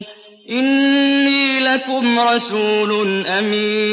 إِنِّي لَكُمْ رَسُولٌ أَمِينٌ